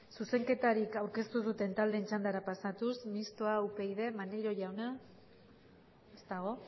zuzenketari aurkeztu ez duten taldeen txandara pasatuz mistoa upyd maneiro jauna ez dago